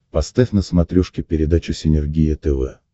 поставь на смотрешке передачу синергия тв